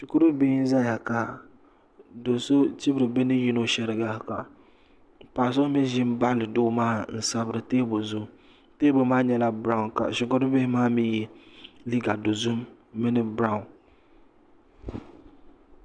Shikuri bihbihi n zaya ka do so chibiri bi ni yino shariga ka paɣa so mi ʒi baɣa doo maa n sabiri teebuli zuɣu teebuli maa nyɛla berau ka shɛkuru bihi maa mi ye liga dozim mini berau.